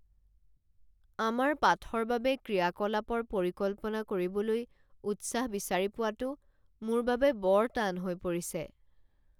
আমাৰ পাঠৰ বাবে ক্ৰিয়াকলাপৰ পৰিকল্পনা কৰিবলৈ উৎসাহ বিচাৰি পোৱাটো মোৰ বাবে বৰ টান হৈ পৰিছে।